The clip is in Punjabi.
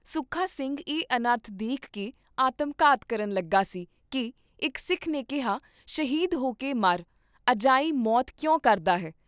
ਸੁੱਖਾ ਸਿੰਘ ਇਹ ਅਨਰਥ ਦੇਖ ਕੇ ਆਤਮਘਾਤ ਕਰਨ ਲੱਗਾ ਸੀ ਕੀ ਇਕ ਸਿੱਖ ਨੇ ਕਿਹਾ ' ਸ਼ਹੀਦ ਹੋਕੇ ਮਰ, ਅਜਾਈਂ ਮੌਤ ਕਿਉਂ ਕਰਦਾ ਹੈ?